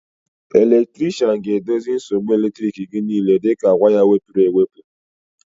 Elektrikshan ga-edozi nsogbu elektriki gị niile dịka waya wepụrụ ewepụ